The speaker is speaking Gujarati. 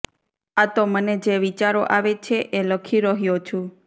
આ તો મને જે વિચારો આવે છે એ લખી રહ્યો છું